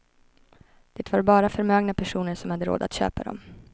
Det var bara förmögna personer som hade råd att köpa dem.